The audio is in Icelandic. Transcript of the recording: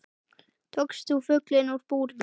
Tókst þú fuglinn úr búrinu?